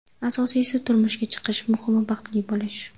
Asosiysi turmushga chiqish Muhimi baxtli bo‘lish.